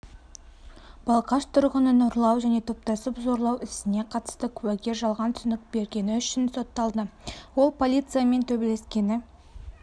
балқаш тұрғынын ұрлау және топтасыпзорлау ісіне қатысты куәгер жалған түсінік бергені үшін сотталды ол полициямен төбелескені